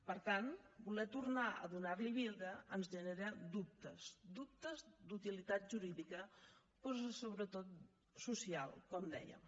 per tant voler tornar a donar li vida ens genera dubtes dubtes d’utilitat jurídica però sobretot social com dèiem